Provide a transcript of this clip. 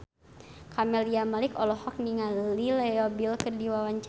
Camelia Malik olohok ningali Leo Bill keur diwawancara